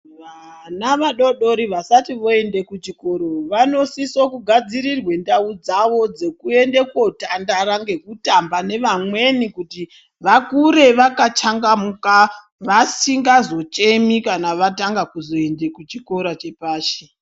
Vanaa vadodori vasati voende kuchikoro vanosise kugadzirirwe ndau dzavo dzekuende kotandara ngekutamba nevamweni kuti vakure vakachangamuka vasingazochemi kana vatanga kuzoende kuchikora chepashi.